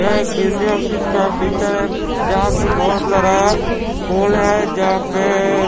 यह बिल्डी ऑफिस का फीचर है जहां पेबहुत सारा पोल है जहां पे--